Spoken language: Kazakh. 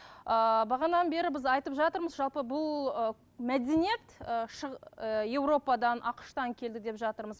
ыыы бері біз айтып жатырмыз жалпы бұл ы мәдениет ы ы европадан ақш тан келді деп жатырмыз